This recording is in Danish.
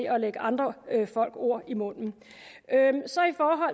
at lægge andre folk ord i munden